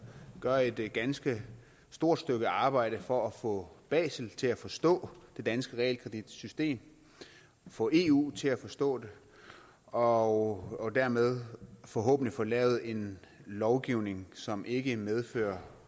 gør et ganske stort stykke arbejde for at få basel til at forstå det danske realkreditsystem få eu til at forstå det og og dermed forhåbentlig få lavet en lovgivning som ikke medfører